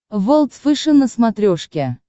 волд фэшен на смотрешке